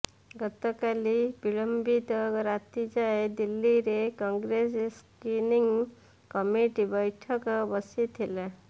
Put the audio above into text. ଗତକାଲି ବିଳମ୍ବିତ ରାତି ଯାଏଁ ଦିଲ୍ଲୀରେ କଂଗ୍ରେସ ସ୍କିନିଂ କମିଟି ବୈଠକ ବସିଥିଲା